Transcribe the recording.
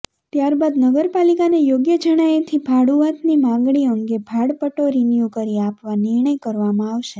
ત્યાર બાદ નગરપાલિકાને યોગ્ય જણાયેથી ભાડૂઆતની માગણી અંગે ભાડાપટ્ટો રિન્યુ કરી આપવા નિર્ણય કરવામાં આવશે